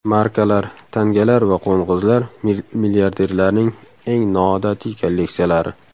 Markalar, tangalar va qo‘ng‘izlar: milliarderlarning eng noodatiy kolleksiyalari .